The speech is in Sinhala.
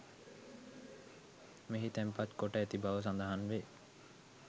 මෙහි තැන්පත් කොට ඇති බව සඳහන් වේ.